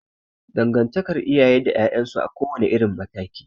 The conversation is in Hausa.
Dangantakar iyaye da 'ya'yan su a kowa ne irin mataki